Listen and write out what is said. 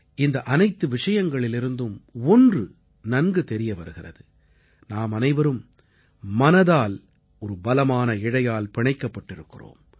இந்த அனைத்து விஷயங்களிலிருந்தும் ஒன்று நன்கு தெரிய வருகிறது நாமனைவரும் மனதால் ஒரு பலமான இழையால் பிணைக்கப்பட்டிருக்கிறோம்